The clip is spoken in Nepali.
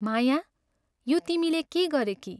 माया, यो तिमीले के गरेकी?